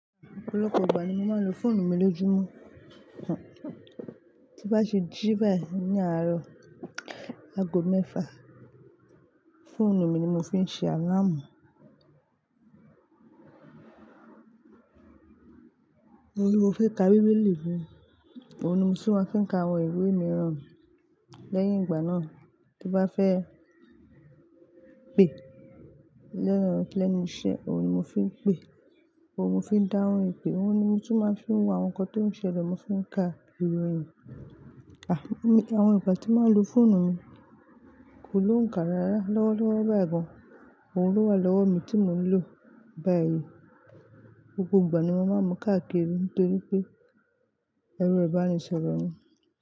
Ọ̀pọ̀lọpọ̀ ìgbà ni mo máa ń lo fóònù mi lójúmọ́, tí n bá ṣe jí báyìí ní àárọ̀ ago mẹ́fà, fóònù mi ni mo fi ń ṣe alámù. Ohun ni mo fi ń ka bíbélì mi, ohun ni mo sì máa ń fi ka àwọn ìwé mìíràn lẹ́yìn ìgbà náà. Tí bá fẹ́ pè lẹ́nu iṣẹ́, ohun ni mo fi ń pè, ohun ni mo fi ń dáhùn ìpè, ohun ni mo ti máa ń fi wá ohun kan tó ń ṣẹlẹ̀, mo fi ń ka ìròyìn. Àwọn ìgbà tí màá lo fóònù mi kò lóhùn kárará lọ́wọ́ lọ́wọ́ báyìí gan, ohun ló wà lọ́wọ́ mi tí mo ń lò báyìí. Gbogbo ìgbà ni mo màá mú káàkiri nítorí pé ẹrọ ibani sọrọ mi ni.